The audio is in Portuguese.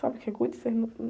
Sabe o que é gude? Você num...